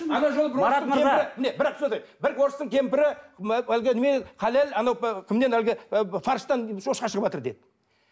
бір орыстың кемпірі әлгі немене халал кімнен әлгі фарштан шошқа шығыватыр деді